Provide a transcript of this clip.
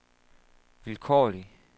vilkårlig